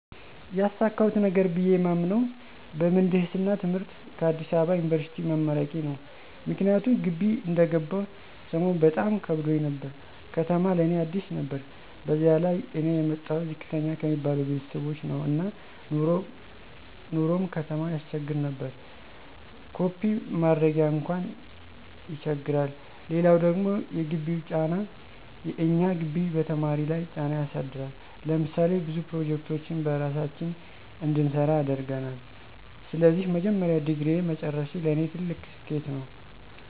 ያሳካሁት ነገር ብየ የማምነው በምህንድስና ትምህርት ከአዲስ አበባ ዩኒበርሲቲ መመረቄ ነው። ምክንያቱም ግቢ እንደገባሁ ሰሞን በጣም ከብዶኝ ነበር፤ ከተማ ለእኔ አዲስ ነበር በዚያ ላይ እኔ የመጣሁት ዝቅተኛ ከሚባሉ ቤተሰቦች ነው እና ኑሮው ቀጣም ያሰቸግር ነበር። ኮፒ ማድረጊያ አንኳን ይቸግራል! ሌላው ደግሞ የግቢው ጫና፦ የእኛ ግቢ በተማሪ ለይ ጫና ያሳድራል። ለምሳሌ ብዙ ፕሮጀክቶችን በራሳችን እንድንሰራ ያደርገናል። ስለዚህ የመጀመሪያ ዲግሪየን መጨረሴ ለኔ ትልቅ ስኬት ነው።